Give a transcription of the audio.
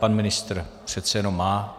Pan ministr přece jenom má.